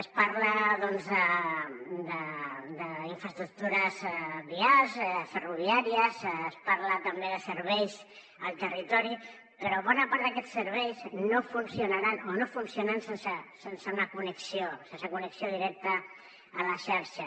es parla d’infraestructures viàries ferroviàries es parla també de serveis al territori però bona part d’aquests serveis no funcionaran o no funcionen sense una connexió sense connexió directa a la xarxa